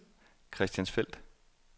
Christiansfeld